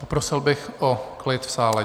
Poprosil bych o klid v sále.